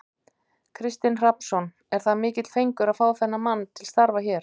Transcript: Kristinn Hrafnsson: Er það mikill fengur að fá þennan mann til starfa hér?